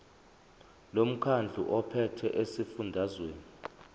lomkhandlu ophethe esifundazweni